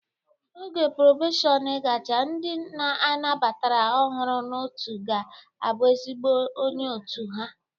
Oge probeshọn gachaa, ndị a nabatara ọhụrụ n'otu ga-abụ ezigbo onye otu ha